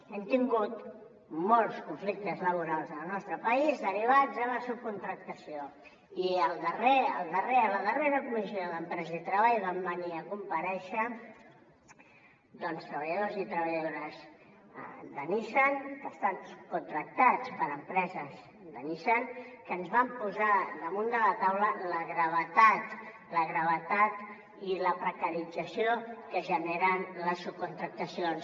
hem tingut molts conflictes la·borals en el nostre país derivats de la subcontractació i a la darrera comissió d’em·presa i treball van venir a comparèixer treballadors i treballadores de nissan que estan subcontractats per empreses de nissan que ens van posar damunt la taula la gravetat i la precarització que generen les subcontractacions